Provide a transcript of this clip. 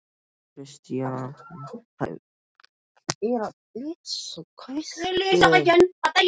Christian beið átekta án þess að haggast.